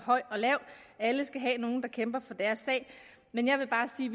lav alle skal have nogle der kæmper for deres sag men jeg vil bare sige